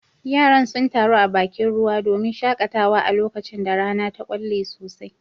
Yaran sun taru a bakin ruwa domin shakatawa a lokacin da rana ta kwalle sosai